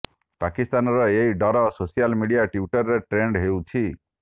ପାକିସ୍ତାନର ଏହି ଡର ସୋସିଆଲ ମିଡିଆ ଟ୍ୱିଟରରେ ଟ୍ରେଣ୍ଡ ହେଉଛି